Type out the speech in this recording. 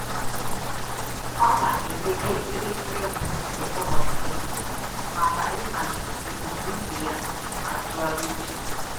Ọ na-edobe elekere mbụ nke ụbọchị ya maka ịhazi ebumnuche ya na ntụgharị uche.